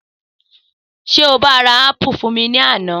Sé o bá ra ápù fún mi ní àná?